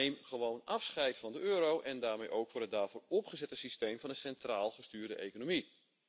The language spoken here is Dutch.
Neem gewoon afscheid van de euro en daarmee ook van het daarvoor opgezette systeem van een centraal gestuurde economie.